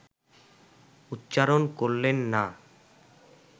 উচ্চারণ করলেন না